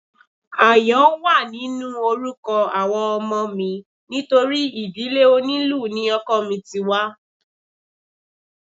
Àyàn wà nínú orúkọ àwọn ọmọ mi nítorí ìdílé onílù ni ọkọ mi ti wá